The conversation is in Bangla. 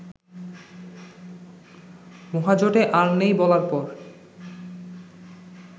মহাজোটে আর নেই বলার পর